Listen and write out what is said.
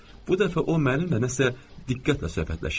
Bu dəfə o mənlə nəsə diqqətlə söhbətləşirdi.